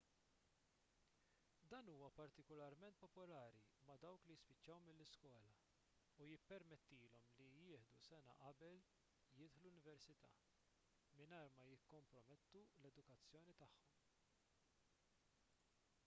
dan huwa partikularment popolari ma' dawk li jispiċċaw mill-iskola u jippermetilhom li jieħdu sena qabel jidħlu l-università mingħajr ma jikkompromettu l-edukazzjoni tagħhom